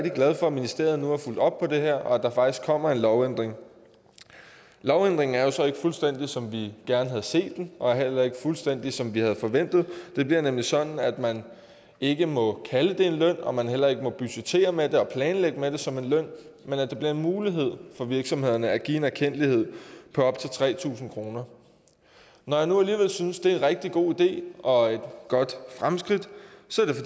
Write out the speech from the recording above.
glad for at ministeriet nu har fulgt op på det her og at der faktisk kommer en lovændring lovændringen er jo så ikke fuldstændig som vi gerne havde set den og er heller ikke fuldstændig som vi havde forventet det bliver nemlig sådan at man ikke må kalde det en løn og at man heller ikke må budgettere med det og planlægge med det som en løn men at det bliver en mulighed for virksomhederne at give en erkendtlighed på op til tre tusind kroner når jeg nu alligevel synes det er en rigtig god idé og et godt fremskridt